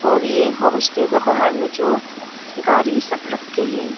और ये होमस्टे के बाहर में जो गारी सब रखे हैं।